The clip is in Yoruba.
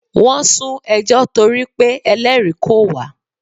Wọ́n sún ẹjọ́ torí pé Ẹlẹ́rìí kò wá.